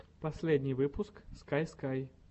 последний выпуск скай скай